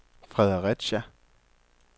Fredericia